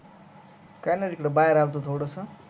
काय नाही रे बाहेर आलतो थोडस